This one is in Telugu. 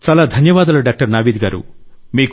చాలా ధన్యవాదాలు డాక్టర్ నావీద్ గారూ